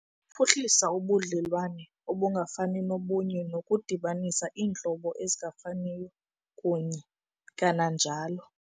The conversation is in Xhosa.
Ukuphuhlisa ubudlelwane obungafani nobunye nokudibanisa iintlobo ezingafaniyo kunye, kananjalo